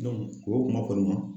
o kuma kɔni ma